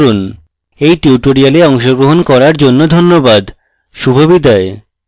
এই tutorial অংশগ্রহণ করার জন্য ধন্যবাদ শুভবিদায়